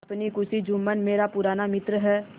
अपनी खुशी जुम्मन मेरा पुराना मित्र है